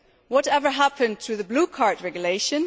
Whatever happened to the Blue Card Regulation?